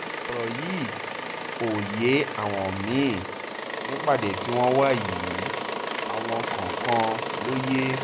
ọ̀rọ̀ yìí ò yé àwọn mí-ín nípàdé tí wọ́n wà yìí àwọn kọ̀ọ̀kan ló yé